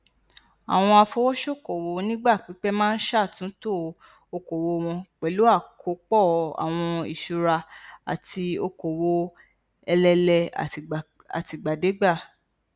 àwọn afowósókowò onígbà pípẹ máa n ṣàtúntò okòwò wọn pẹlú àkópọ àwọn ìṣúra àti okòwò elelee àtìgbàdégbà